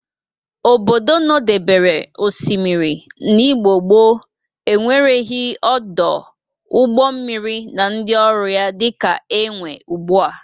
Obodo nọdebere osimiri n'Igbo gboo enwereghi ọdụ ụgbọ mmiri na ndị ọrụ ya dịka enwe ugbu a.